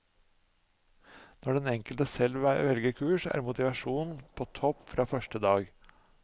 Når den enkelte selv velger kurs, er motivasjonen på topp fra første dag.